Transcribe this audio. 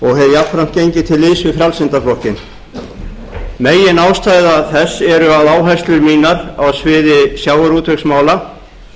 jafnframt gengið til liðs við frjálslynda flokkinn meginástæða þess er að áherslur mínar á sviði sjávarútvegsmála